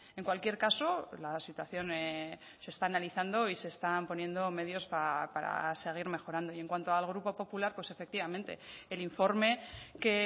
en cualquier caso la situación se está analizando y se están poniendo medios para seguir mejorando y en cuanto al grupo popular pues efectivamente el informe que